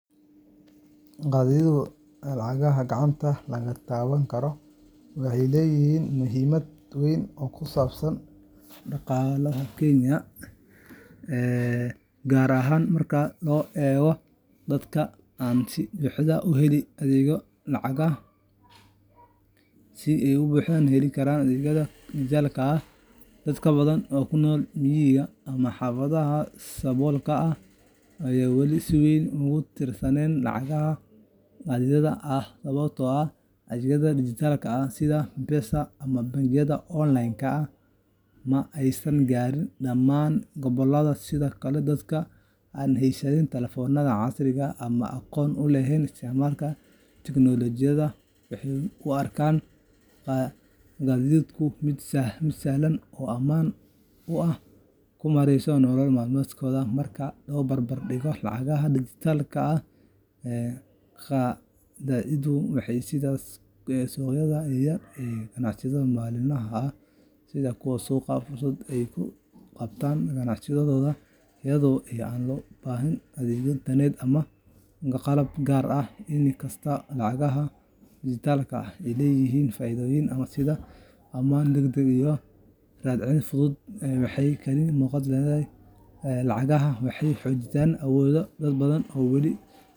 Qadaadiicdu lacagta gacanta laga taaban karo waxay weli leedahay muhiimad weyn oo ku saabsan dhaqaalaha Kenya, gaar ahaan marka loo eego dadka aan si buuxda u helin adeegyada lacagaha dijitaalka ah. Dad badan oo ku nool miyiga ama xaafadaha saboolka ah ayaa wali si weyn ugu tiirsan lacagaha qadaadiicda ah sababtoo ah adeegyada dijitaalka ah sida M-Pesa ama bangiyada online-ka ah ma aysan gaarin dhammaan gobollada. Sidoo kale, dadka aan heysan taleefannada casriga ah ama aqoon u lahayn isticmaalka tiknoolajiyadda waxay u arkaan qadaadiicda mid sahlan oo ammaan ah oo ay ku maareeyaan nolol maalmeedkooda. Marka la barbar dhigo lacagaha dijitaalka ah, qadaadiicdu waxay siisaa suuqyada yaryar iyo ganacsatada maalinlaha ah sida kuwa suuqa fursad ay ku qabtaan ganacsigooda iyada oo aan loo baahnayn adeegyo internet ama qalab gaar ah. In kastoo lacagaha dijitaalka ah ay leeyihiin faa’iidooyin sida ammaan, degdeg, iyo raad raac fudud, haddana qadaadiicdu waxay kaalin muuqata ku leedahay wareegga lacagaha gudaha, waxayna xoojinaysaa awoodda dad badan oo aan oo wali.